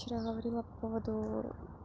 вчера говорила по поводу